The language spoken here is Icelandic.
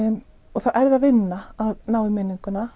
þá er vinna að ná í minninguna